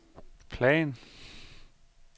plan